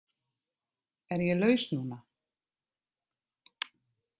Er ég laus núna?